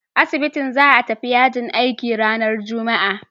Asibitin za a tafi yajin aiki ranar Juma'a.